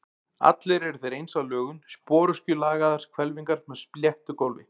Allir eru þeir eins að lögun, sporöskjulagaðar hvelfingar með sléttu gólfi.